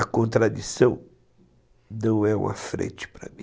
A contradição não é uma frente para mim.